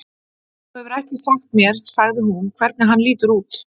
Þú hefur ekki sagt mér sagði hún, hvernig hann lítur út